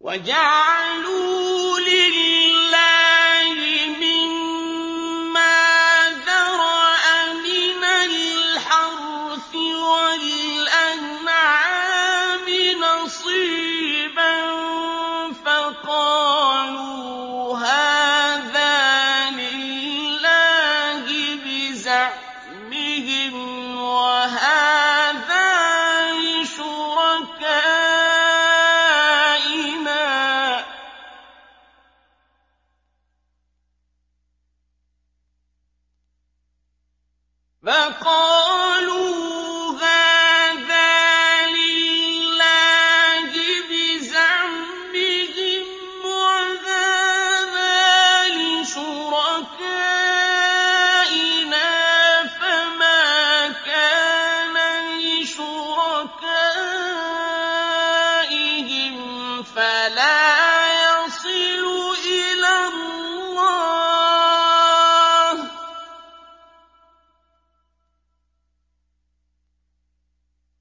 وَجَعَلُوا لِلَّهِ مِمَّا ذَرَأَ مِنَ الْحَرْثِ وَالْأَنْعَامِ نَصِيبًا فَقَالُوا هَٰذَا لِلَّهِ بِزَعْمِهِمْ وَهَٰذَا لِشُرَكَائِنَا ۖ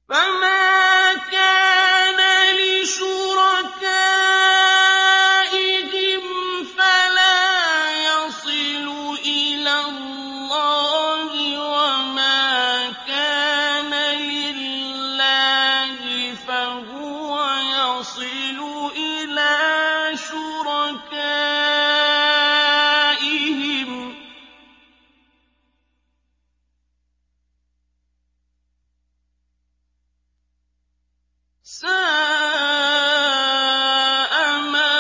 فَمَا كَانَ لِشُرَكَائِهِمْ فَلَا يَصِلُ إِلَى اللَّهِ ۖ وَمَا كَانَ لِلَّهِ فَهُوَ يَصِلُ إِلَىٰ شُرَكَائِهِمْ ۗ سَاءَ مَا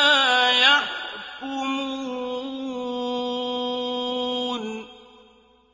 يَحْكُمُونَ